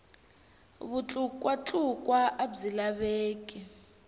vutlukwa tlukwa a byi laveki